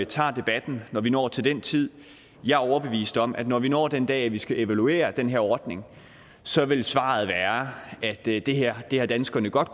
tager debatten når vi når til den tid jeg er overbevist om at når vi når den dag hvor vi skal evaluere den her ordning så vil svaret være at det det her har danskerne godt